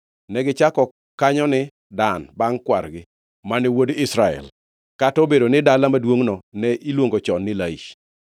Negichako kanyo ni Dan bangʼ kwargi Dan, mane wuod Israel; kata obedo ni dala maduongʼno ne iluongo chon ni Laish.